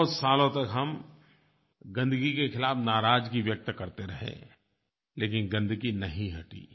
बहुत सालों तक हम गंदगी के खिलाफ़ नाराज़गी व्यक्त करते रहे लेकिन गंदगी नहीं हटी